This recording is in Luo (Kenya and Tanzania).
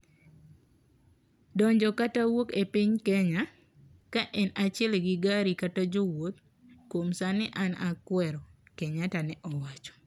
"donjo kata wuok e piny Kenya, ka en achiel gi gari kata jo wouth, kuom sani an kwero" Kenyatta ne owacho